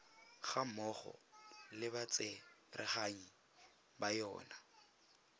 gammogo le batsereganyi ba yona